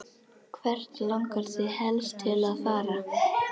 Hvert langar þig helst til að fara?